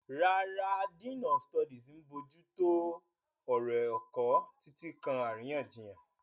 Rárá, Dean of Studies ń bójú tó ọ̀rọ̀ ẹ̀kọ́, títí kan àríyànjiyàn.